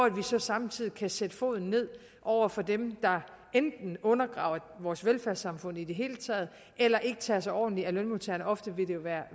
at vi så samtidig kan sætte foden ned over for dem der enten undergraver vores velfærdssamfund i det hele taget eller ikke tager sig ordentligt af lønmodtagerne ofte